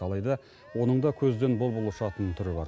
алайда оның да көзден бұл бұл ұшатын түрі бар